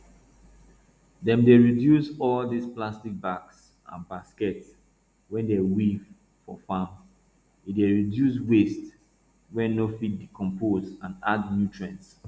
dem dey reduce all dis plastic bags and baskets wey dem weave for farm e dey reduce waste wey no fit decompose and add nutrients